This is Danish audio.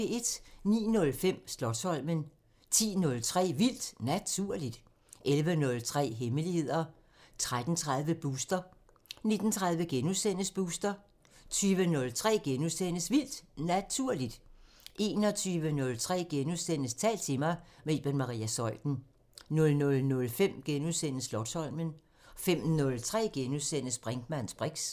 09:05: Slotsholmen 10:03: Vildt Naturligt 11:03: Hemmeligheder 13:30: Booster 19:30: Booster * 20:03: Vildt Naturligt * 21:03: Tal til mig – med Iben Maria Zeuthen * 00:05: Slotsholmen * 05:03: Brinkmanns briks *